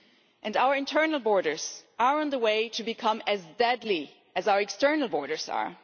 And our internal borders are on the way to be coming as deadly as our external borders are.